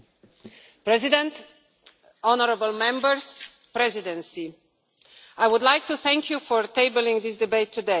Mr President, I would like to thank you for tabling this debate today.